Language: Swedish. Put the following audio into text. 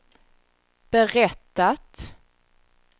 berättat